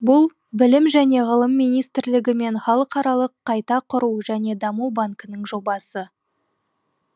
бұл білім және ғылым министрлігі мен халықаралық қайта құру және даму банкінің жобасы